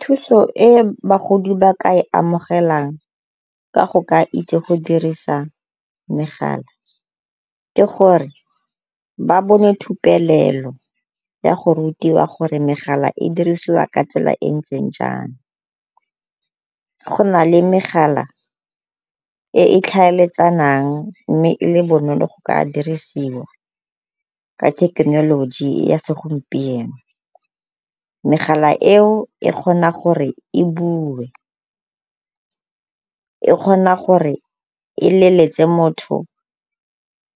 Thuso e bagodi ba ka e amogelang ka go ka itse go dirisa megala ke gore ba bone ya go rutiwa gore megala e dirisiwa ka tsela e e ntseng jang. Go na le megala e e tlhaeletsanang mme e le bonolo go ka diriswa ka thekenoloji ya segompieno. Megala eo e kgona gore e bue, e kgona gore e leletse motho